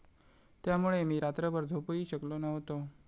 त्यामुळे मी रात्रभर झोपूही शकलो नव्हतो.